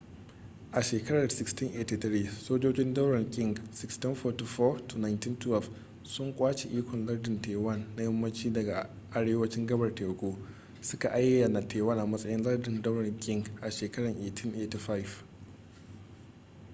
a shekarar 1683 sojojin daular qing 1644-1912 sun kwace ikon lardin taiwan na yammacin da arewacin gabar teku suka ayyana taiwan a matsayin lardin daular qing a shekarar 1885